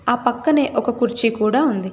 ఆ పక్కనే ఒక కుర్చీ కూడా ఉంది.